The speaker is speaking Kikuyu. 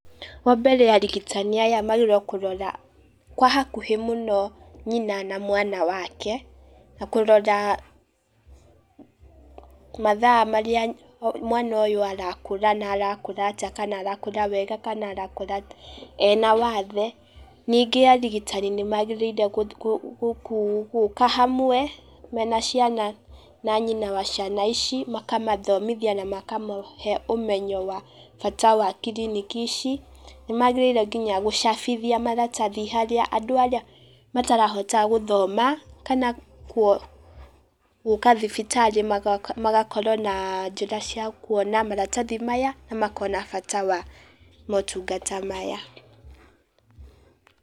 Wa mbere arigitani aya magĩrĩirwo kũrora kwa hakuhĩ mũno nyina na mwana wake, na kũrora mathaa marĩa mwana ũyũ arakũra, na arakũra atĩa kana arakura wega kana arakũra ena wathe, ningĩ arigitani nĩmagĩrĩire gũ gũka hamwe, mena ciana na nyina wa ciana ici, makamathomithia na makamahe ũmenyo wa bata wa kiriniki ici, nĩmagĩrĩire nginya gũcabithia maratathi harĩa andũ arĩa matarahota gũthoma kana gũ gũka thibitarĩ magakorwo na njĩra cia kuona maratathi maya, na makona bata wa motungata maya.